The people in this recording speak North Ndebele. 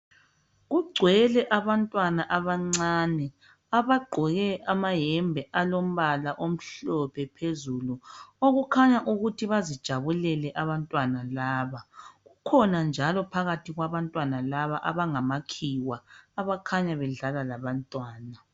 Kungcwele abantwana abancani abangqoke amayembe alombala omhlophe phezulu okukhanya ukuthi bazijabulele abantwana laba kukhona njalo phakathi kwabantwana laba abangama khiwa abakhanya bedlela labantwana